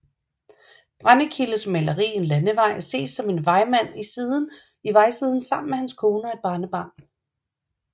Brendekildes maleri En Landevej ses en vejmand i vejsiden sammen med hans kone og et barnebarn